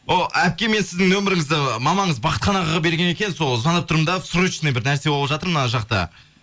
әпке мен сіздің номеріңізді мамаңыз бахытхан ағаға берген екен сол звондап тұрмын да срочно бір нәрсе болып жатыр мына жақта